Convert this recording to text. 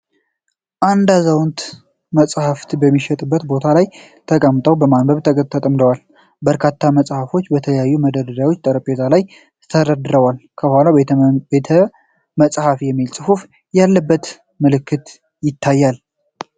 አንድ አዛውንት መጽሐፍትን በሚሸጥበት ቦታ ላይ ተቀምጠው በማንበብ ተጠምደዋል። በርካታ መጽሐፎች በተለያዩ መደርደሪያዎችና ጠረጴዛ ላይ ተደርድረዋል። ከኋላው 'ቤተመጻሕፍት' የሚል ጽሑፍ ያለበት ምልክት ይታያል።